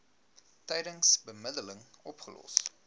tydens bemiddeling opgelos